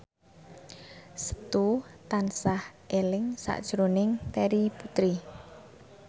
Setu tansah eling sakjroning Terry Putri